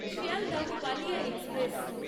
Sealdah Ballia express